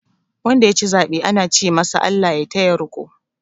Wanda ya ci zaɓe ana ce masu "ALLAH ya taya riko".